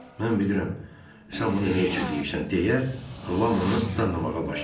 Mən bilirəm sən bunu nə üçün deyirsən deyə Lam onu danlamağa başladı.